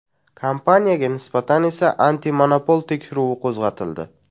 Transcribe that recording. Kompaniyaga nisbatan esa antimonopol tekshiruvi qo‘zg‘atildi.